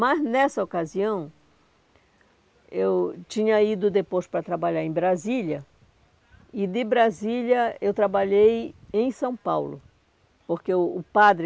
Mas nessa ocasião, eu tinha ido depois para trabalhar em Brasília, e de Brasília eu trabalhei em São Paulo, porque o o padre,